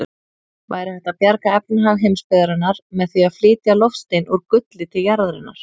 Væri hægt að bjarga efnahag heimsbyggðarinnar með því að flytja loftstein úr gulli til jarðarinnar?